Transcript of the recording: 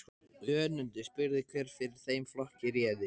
Önundur spurði hver fyrir þeim flokki réði.